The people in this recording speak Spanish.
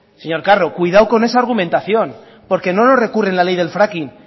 señor carro cuidado con esa argumentación porque no nos recurren la ley del fracking